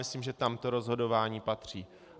Myslím, že tam to rozhodování patří.